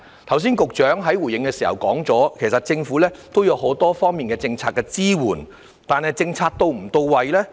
局長剛才回應時提到，其實政府也有很多方面的政策支援，但政策是否到位？